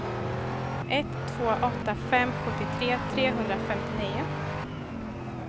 ett två åtta fem sjuttiotre trehundrafemtionio